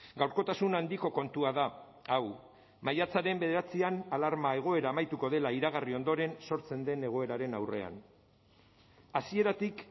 gaurkotasun handiko kontua da hau maiatzaren bederatzian alarma egoera amaituko dela iragarri ondoren sortzen den egoeraren aurrean hasieratik